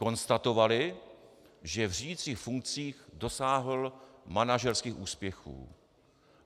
Konstatovali, že v řídicích funkcích dosáhl manažerských úspěchů.